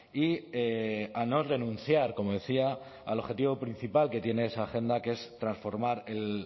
y a no renunciar como decía al objetivo principal que tiene esa agenda que es transformar el